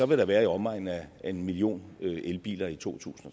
vil være i omegnen af en million elbiler i to tusind